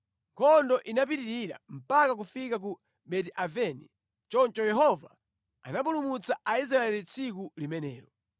Nkhondo inapitirira mpaka kufika ku Beti-Aveni. Choncho Yehova anapulumutsa Aisraeli tsiku limenelo.